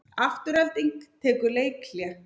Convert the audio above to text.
Afturelding tekur leikhlé